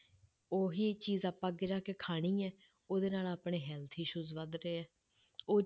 ਉਹੀ ਚੀਜ਼ ਆਪਾਂ ਅੱਗੇ ਜਾ ਕੇ ਖਾਣੀ ਹੈ, ਉਹਦੇ ਨਾਲ ਆਪਣੇ health issues ਵੱਧ ਰਹੇ ਹੈ ਉਹ